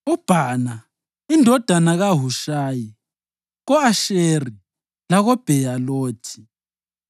uBhana indodana kaHushayi ko-Asheri lako-Bheyalothi;